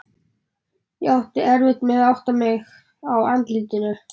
Ég átti erfitt með að átta mig á andlitinu.